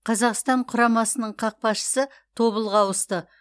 қазақстан құрамасының қақпашысы тобылға ауысты